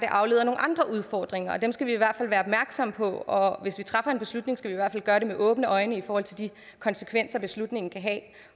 andre udfordringer og dem skal vi i hvert fald være opmærksomme på og hvis vi træffer en beslutning skal vi i hvert fald gøre det med åbne øjne i forhold til de konsekvenser beslutningen kan have